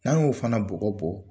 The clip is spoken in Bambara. N'an y'o fana bɔgɔ bɔ